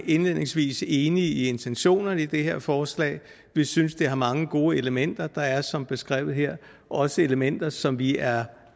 indledningsvis enige i intentionerne med det her forslag vi synes det har mange gode elementer der er som beskrevet her også elementer som vi er